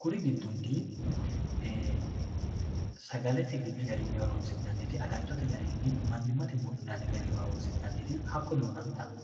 kuri giddonni eee sagalete horoonsi'nanniti agattote garinni mannimate buudhinanni gari horoonsi'nanniti hakko duunantanno